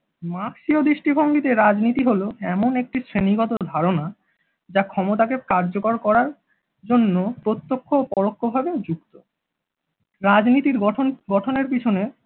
মার্কসীয় দৃষ্টিভঙ্গীতে রাজনীতি হলো এমন একটি শ্রেণীগত ধারনা যা ক্ষমতাকে কার্যকর করার জন্য প্রত্যক্ষ ও পরোক্ষভাবে যুক্ত। রাজনীতির গঠন গঠনের পেছনে